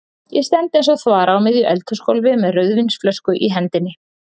Ég stend eins og þvara á miðju eldhúsgólfi með rauðvínsflösku í hendinni.